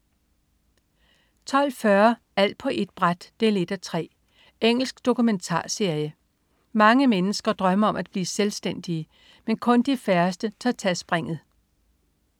12.40 Alt på ét bræt 1:3. Engelsk dokumentarserie. Mange mennesker drømmer om at blive selvstændige, men kun de færreste tør tage springet